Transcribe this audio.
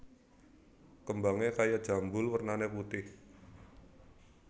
Kembangé kaya jambul wernané putih